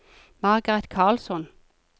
Margaret Karlsson